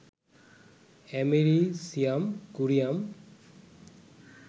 americium, curium,